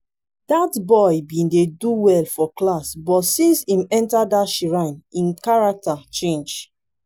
dat boy bin dey do well for class but since im enter that shrine im character change